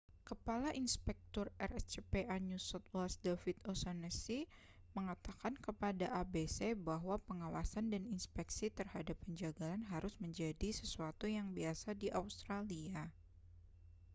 kepala inspektur rscpa new south wales david o'shannessy mengatakan kepada abc bahwa pengawasan dan inspeksi terhadap penjagalan harus menjadi sesuatu yang biasa di australia